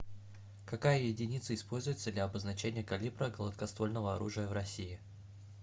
какая единица используется для обозначения калибра гладкоствольного оружия в россии